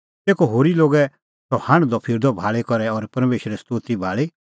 तेखअ होरी लोगै सह हांढदअ फिरदअ भाल़ी करै और परमेशरे स्तोती भाल़ी